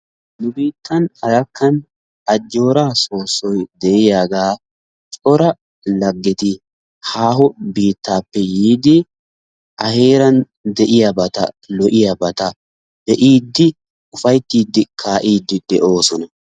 Nu biityan Arakkan ajooraa soosoy de'iya cora lagetti haaho biitaape yiidi a heeran de'iyabata lo'iyabata be'idi ufaytiidi kaaa'iidi de'oososna.